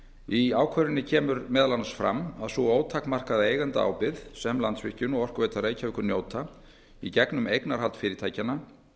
í ákvörðuninni kemur meðal annars fram að sú ótakmarkaða eigendaábyrgð sem landsvirkjun og orkuveita reykjavíkur njóta í gegnum eignarhald fyrirtækjanna